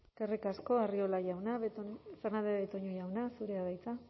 eskerrik asko arriola jauna fernandez de betoño jauna zurea da hitza